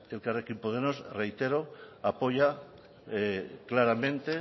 elkarrekin podemos reitero apoya claramente